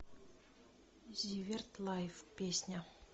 зиверт лайф песня